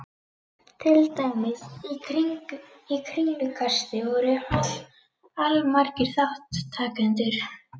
Til dæmis: Í kringlukasti voru allmargir þátttakendur.